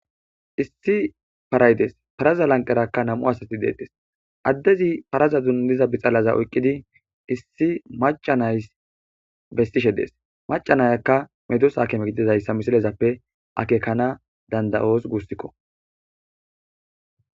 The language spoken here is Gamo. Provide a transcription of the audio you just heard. Issi paraydees paraza lanqerakka nam7u asati deetes addezi paraza dundiza bixalaza oyqqidi issi macanays bestishe dees macanayakka medus aakeme gididayssa misilezappe akekana dandayoos gussikko